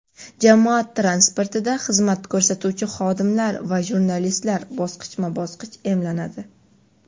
jamoat transportida xizmat ko‘rsatuvchi xodimlar va jurnalistlar bosqichma-bosqich emlanadi.